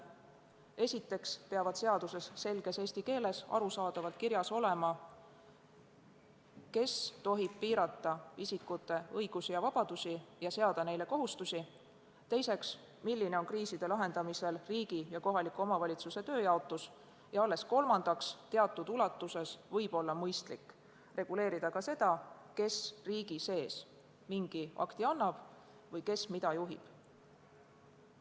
Esiteks peab seaduses selges eesti keeles arusaadavalt kirjas olema, kes tohib piirata isikute õigusi ja vabadusi ja seada neile kohustusi, teiseks, milline on kriiside lahendamisel riigi ja kohaliku omavalitsuse tööjaotus, ning alles kolmandaks võib teatud ulatuses olla mõistlik reguleerida ka seda, kes riigi sees mingi akti annab või kes mida juhib.